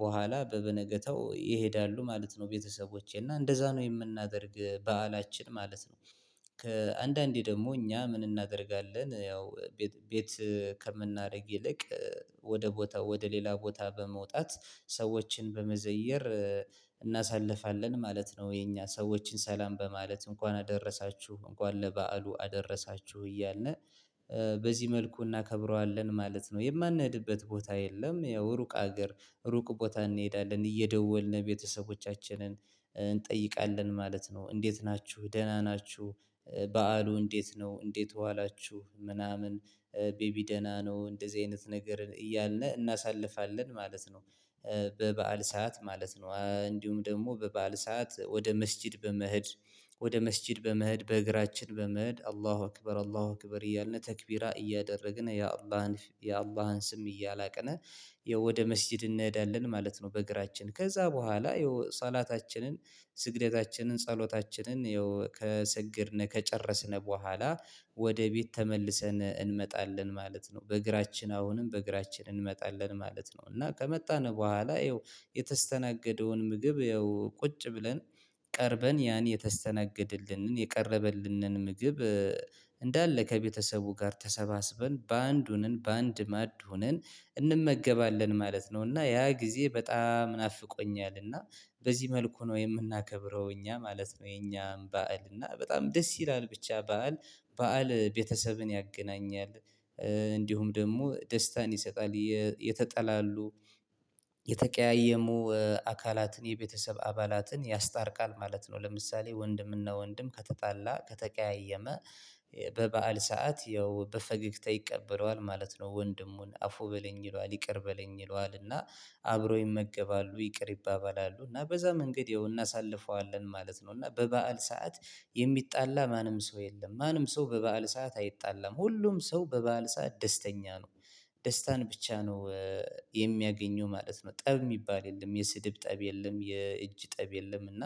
በኋላ በበነገታው ይሄዳሉ ማለት ነው። ቤተሰቦቼ እና እንደዛ ነው የምናደርግ በዓላችን ማለት ነው። ከአንዳንዴ ደግሞ እኛ ምን እናደርጋለን ያው ቤት ከምናደርግ ይልቅ ወደ ቦታ ወደ ሌላ ቦታ በመውጣት ሰዎችን በመዘየር እናሳልፋለን ማለት ነው። የኛ ሰዎችን ሰላም በማለት እንኳን አደረሳችሁ እንኳን ለበዓሉ አደረሳችሁ እያለነ በዚህ መልኩ እናከብረዋለን ማለት ነው። የማንሄድበት ቦታ የለም ያው ሩቅ አገር ሩቅ ቦታ እንሄዳለን እየደወልን ቤተሰቦቻችንን እንጠይቃለን ማለት ነው። እንዴት ናችሁ ደህና ናችሁ? በዓሉ እንዴት ነው እንዴት ዋላችሁ ምናምን? ቤቢ ደህና ነው እንደዚህ አይነት ነገርን እያልነህ እናሳልፋለን ማለት ነው። በበዓል ሰዓት ማለት ነው እንዲሁም ደግሞ በበዓል ሰዓት ወደ መስጊድ በመህድ ወደ መስጊድ በመህድ በእግራችን በመህድ አላሁ አክበር አላሁ አክበር እያልን ተክቢራ እያደረግን የአላህን የአላህን ስም እያላቅን ወደ መስጊድ እንሄዳለን ማለት ነው። በእግራችን ከዛ በኋላ ይኸው ሰላታችንን ስግደታችንን ጸሎታችንን ያው ከሰገድነ ከጨረስነ በኋላ ወደ ቤት ተመልሰን እንመጣለን ማለት ነው። በእግራችን አሁንም በእግራችን እንመጣለን ማለት ነው። እና ከመጣን በኋላ ያው የተስተናገደውን ምግብ ያው ቁጭ ብለን ቀርበን ያን የተስተናገድልንን የቀረበልንን ምግብ እንዳለ ከቤተሰቡ ጋር ተሰባስበን በንድ በአንድ ማድ ሆነን እንመገባለን ማለት ነው። እና ያ ጊዜ በጣም ናፍቆኛል እና በዚህ መልኩ ነው የምናከብረው እኛ ማለት ነው። የኛም ባዕልና በጣም ደስ ይላል ብቻ በዓል በዓል ቤተሰብን ያገናኛል። እንዲሁም ደግሞ ደስታን ይሰጣል የተጠላሉ የተቀያየሙ አካላትን የቤተሰብ አባላትን ያስታርቃል ማለት ነው። ለምሳሌ ወንድምና ወንድም ከተጣላ ከተቀያየመ በበዓል ሰዓት ያው በፈገግታ ይቀበለዋል ማለት ነው። ወንድሙን አፉ በለኝ ይለዋል ይቅር በለኝ ይለዋል እና አብሮ ይመገባሉ ይቅር ይባባላሉ እና በዛ መንገድ ያው እናሳልፈዋለን ማለት ነው። እና በበዓል ሰዓት የሚጣላ ማንም ሰው የለም ማንም ሰው በበዓል ሰዓት አይጣላም ሁሉም ሰው በበዓል ሰዓት ደስተኛ ነው። ደስታን ብቻ ነው የሚያገኘው ማለት ነው። ጠብ የሚባል የለም የስድብ ጠብ የለም የእጅ ጠብ የለም እና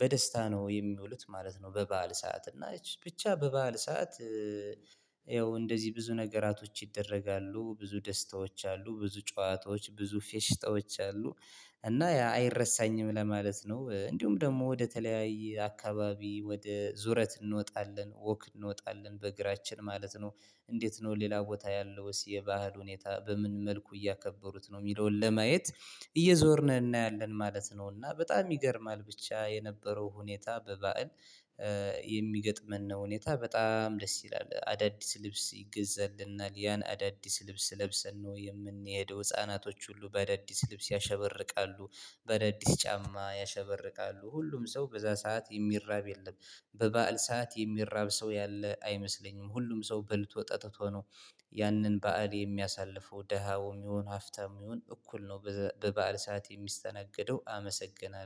በደስታ ነው የሚውሉት ማለት ነው። በበዓል ሰዓት እና ብቻ በበዓል ሰዓት ያው እንደዚህ ብዙ ነገራቶች ይደረጋሉ ብዙ ደስታዎች አሉ ብዙ ጨዋታዎች ብዙ ፌሽታዎች አሉ። እና አይረሳኝም ለማለት ነው እንዲሁም ደግሞ ወደ ተለያይ አካባቢ ወደ ዙረት እንወጣለን ወክ እንወጣለን በእግራችን ማለት ነው። እንዴት ነው ሌላ ቦታ ያለውስ የባህል ሁኔታ በምን መልኩ እያከበሩት ነው የሚለውን ለማየት እየዞርን እናያለን ማለት ነው። እና በጣም ይገርማል ብቻ የነበረው ሁኔታ በባእል የሚገጥመን ነው። ሁኔታ በጣም ደስ ይላል። አዳዲስ ልብስ ይገዛልናል ያን አዳዲስ ልብስ ለብሰን ነው የምንሄደው ህፃናቶች ሁሉ በአዳዲስ ልብስ ያሸበርቃሉ። በደዲስ ጫማ ያሸበርቃሉ ሁሉም ሰው በዛ ሰዓት የሚራብ የለም። በበዓል ሰዓት የሚራብ ሰው ያለ አይመስለኝም ሁሉም ሰው በልቶ ጠጥቶ ነው። ያንን በዓል የሚያሳልፈው ደሃውም ይሁን ሀፍታም ይሁን እኩል ነው። በበአለ ሰዓት የሚስተናገደው አመሰግናለሁ